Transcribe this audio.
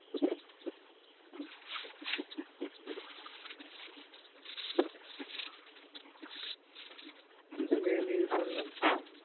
মেনে নিয়েছে সব শুনলাম।